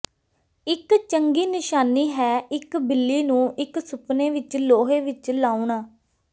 ਇੱਕ ਚੰਗੀ ਨਿਸ਼ਾਨੀ ਹੈ ਇੱਕ ਬਿੱਲੀ ਨੂੰ ਇੱਕ ਸੁਪਨੇ ਵਿੱਚ ਲੋਹੇ ਵਿੱਚ ਲਾਉਣਾ